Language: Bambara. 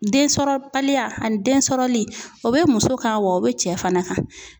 Densɔrɔbaliya ani densɔrɔli o bɛ muso kan wa o bɛ cɛ fana kan